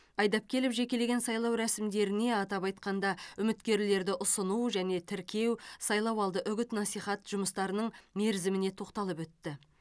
айдапкелов жекелеген сайлау рәсімдеріне атап айқанда үміткерлерді ұсыну және тіркеу сайлауалды үгіт насихат жұмыстарының мерзіміне тоқталып өтті